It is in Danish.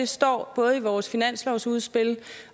står både i vores finanslovsudspil